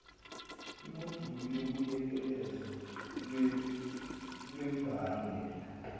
imoduli yobuyekezo lwembangela